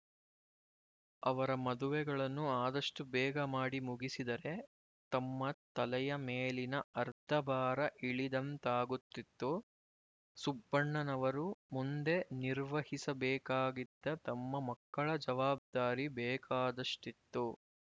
ಅವರ ಮದುವೆಗಳನ್ನು ಆದಷ್ಟು ಬೇಗ ಮಾಡಿ ಮುಗಿಸಿದರೆ ತಮ್ಮ ತಲೆಯ ಮೇಲಿನ ಅರ್ಧ ಭಾರ ಇಳಿದಂತಾಗುತ್ತಿತ್ತು ಸುಬ್ಬಣ್ಣನವರು ಮುಂದೆ ನಿರ್ವಹಿಸಬೇಕಾಗಿದ್ದ ತಮ್ಮ ಮಕ್ಕಳ ಜವಾಬ್ದಾರಿ ಬೇಕಾದಷ್ಟಿತ್ತು